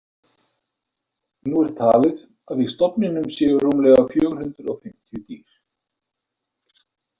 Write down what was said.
Nú er talið að í stofninum séu rúmlega fjögur hundruð fimmtíu dýr.